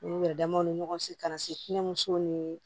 U yɛrɛ damaw ni ɲɔgɔn cɛ ka na se kɛnɛ musow ni